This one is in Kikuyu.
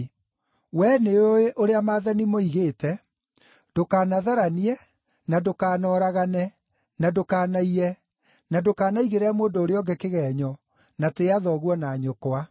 We nĩũĩ ũrĩa maathani moigĩte, ‘Ndũkanatharanie, na ndũkanoragane, na ndũkanaiye, na ndũkanaigĩrĩre mũndũ ũrĩa ũngĩ kĩgeenyo, na tĩĩa thoguo na nyũkwa.’ ”